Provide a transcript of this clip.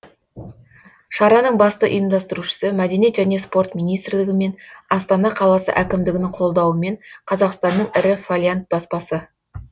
шараның басты ұйымдастырушысы мәдениет және спорт министрлігі мен астана қаласы әкімдігінің қолдауымен қазақстанның ірі фолиант баспасы